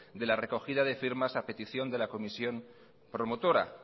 de la recogida de firmas a petición de la comisión promotora